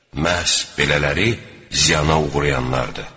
Məhz belələri ziyana uğrayanlardır.